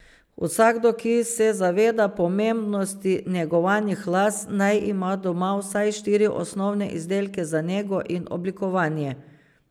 Vsakdo, ki se zaveda pomembnosti negovanih las, naj ima doma vsaj štiri osnovne izdelke za nego in oblikovanje.